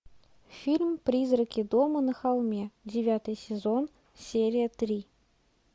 фильм призраки дома на холме девятый сезон серия три